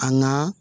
An ga